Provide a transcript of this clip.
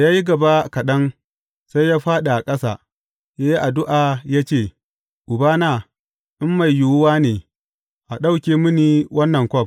Da ya yi gaba kaɗan, sai ya fāɗi a ƙasa, ya yi addu’a ya ce, Ubana, in mai yiwuwa ne, a ɗauke mini wannan kwaf.